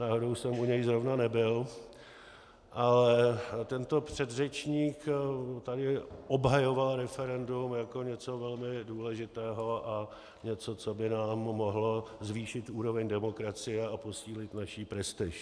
Náhodou jsem u něj zrovna nebyl, ale tento předřečník tady obhajoval referendum jako něco velmi důležitého a něco, co by nám mohlo zvýšit úroveň demokracie a posílit naši prestiž.